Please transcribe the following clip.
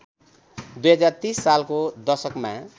२०३० सालको दशकमा